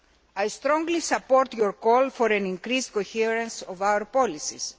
I strongly support your call for an increased coherence of our policies.